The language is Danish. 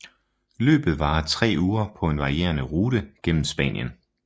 Løbet varer tre uger på en varierende rute gennem Spanien